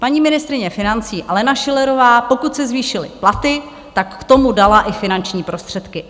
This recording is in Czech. Paní ministryně financí Alena Schillerová, pokud se zvýšily platy, tak k tomu dala i finanční prostředky.